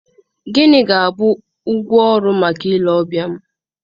Gịnị ga-abụ ụgwọ ọrụ maka ile ọbịa m?